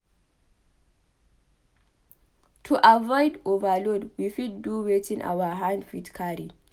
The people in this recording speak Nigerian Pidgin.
To avoid overload we fit do wetin our hand fit carry